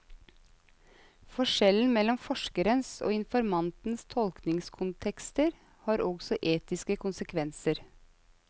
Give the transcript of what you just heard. Forskjellen mellom forskerens og informantens tolkningskontekster har også etiske konsekvenser.